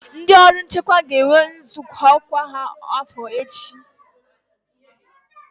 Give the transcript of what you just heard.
Ndị ọrụ nchekwa ga-enwe nzukọ kwa afo ha echi.